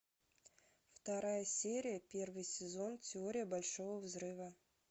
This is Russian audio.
вторая серия первый сезон теория большого взрыва